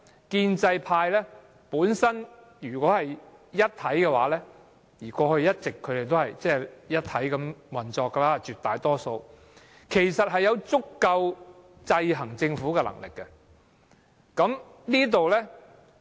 建制派如果是一體地運作——他們過去絕大部分時候也是這樣——其實有足夠能力制衡政府。